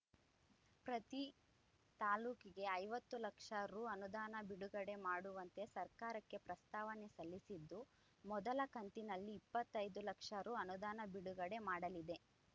ಪ್ರತಿ ತಾಲೂಕಿಗೆ ಐವತ್ತು ಲಕ್ಷ ರು ಅನುದಾನ ಬಿಡುಗಡೆ ಮಾಡುವಂತೆ ಸರ್ಕಾರಕ್ಕೆ ಪ್ರಸ್ತಾವನೆ ಸಲ್ಲಿಸಿದ್ದು ಮೊದಲ ಕಂತಿನಲ್ಲಿ ಇಪ್ಪತ್ತೈದು ಲಕ್ಷ ರು ಅನುದಾನ ಬಿಡುಗಡೆ ಮಾಡಲಿದೆ